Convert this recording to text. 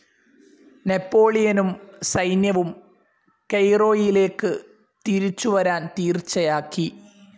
നെപോളിയനും സൈന്യവും കെയ്റോയിലേക്കു തിരിച്ചു വരാൻ തീർച്ചയാക്കി.